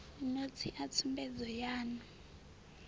notsi a tsumbedzo yan u